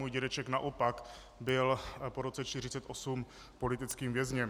Můj dědeček naopak byl po roce 1948 politickým vězněm.